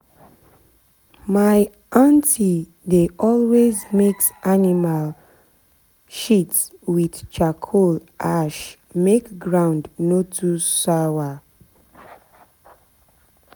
my aunty dey always mix animal always mix animal shit with charcoal ash make ground no too sour.